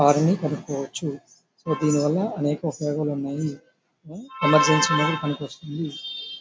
Car ని కొనుకోవచ్చు. దీని వల్ల చాలా అనేక ఉపయోగాలు ఉన్నాయి. ఎమర్జెన్సీ టైం లో పనికివాస్తుంది.